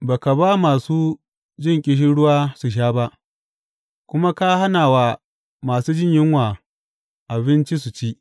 Ba ka ba masu jin ƙishirwa su sha ba kuma ka hana wa masu jin yunwa abinci su ci.